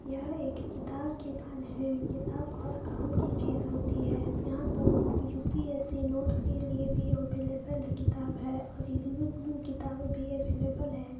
यह एक किताब की दुकान है किताब बहुँत काम की चीज होती है यहा पे यु.पि.एस.सि नोटस के लिए भी अवेलेबल किताब है और इग्नू के लिएकिताबे अवेलेबल है।